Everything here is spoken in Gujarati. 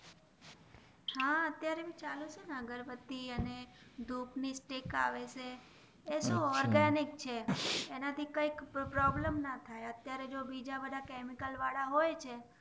હા અત્યરે ભી ચાલુ જ છે અગરબત્તી અને ધૂપ ની સ્ટિક આવે છે એતો ઓર્ગનિક છે અને થી કય પ્રોબ્લેમ ના થઈ ને અત્યરે જો બીજા બધા કેમિકલ વાળા હોય છે